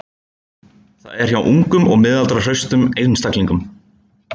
Það er, hjá ungum og miðaldra hraustum einstaklingum.